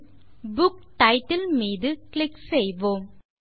பின் book title மீது click செய்வோம்